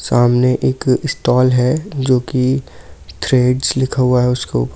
सामने एक स्टॉल है जो की थ्रेडस लिखा हुआ है उसके ऊपर--